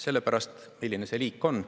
Selle pärast, milline see liik on.